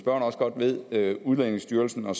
også godt ved udlændingestyrelsen og